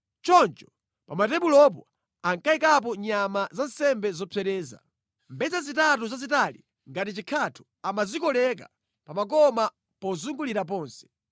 Choncho pa matebulopo ankayikapo nyama za nsembe zopsereza. Mbedza zitatu zazitali ngati chikhatho amazikoleka pa makoma pozungulira ponse.